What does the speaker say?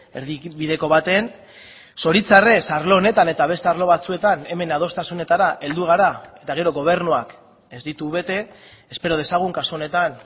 erdibideko baten zoritzarrez arlo honetan eta beste arlo batzuetan hemen adostasunetara heldu gara eta gero gobernuak ez ditu bete espero dezagun kasu honetan